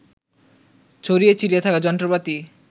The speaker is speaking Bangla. ছড়িয়ে ছিটিয়ে থাকা যন্ত্রপাতি